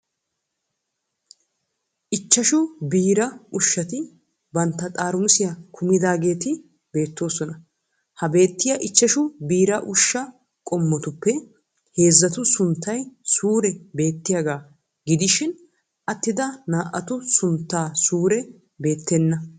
Ichchashu biiraa ushshati bantta xaaramusiya kumidaageeti beettoosona. Ha beettiya ichchashu biira ushsha qommotuppe heezzatu sunttay suure beettiyagaa gidishin attida naa''atu suntta suure beettenna.